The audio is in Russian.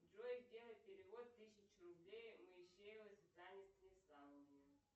джой сделай перевод тысячу рублей моисеевой светлане станиславовне